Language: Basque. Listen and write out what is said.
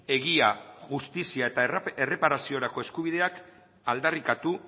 egia justizia eta erreparaziorako eskubideak aldarrikatu